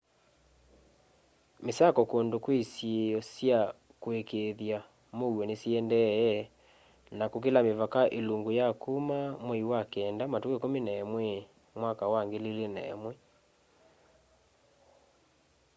misako kundu kwi isiio sya kuikiithya muuo ni siendee na kukila mivaka ilungu ya kuma mwai wa kenda matuku 11 mwaka wa 2001